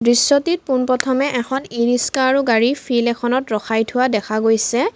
দৃশ্যটিত পোনপ্ৰথমে এখন ইৰিক্সা আৰু গাড়ী ফিল্ড এখনত ৰখাই থোৱা দেখা গৈছে।